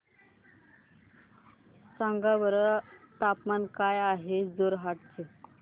सांगा बरं तापमान काय आहे जोरहाट चे